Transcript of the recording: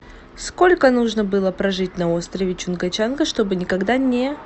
сколько нужно было прожить на острове чунга чанга чтобы никогда не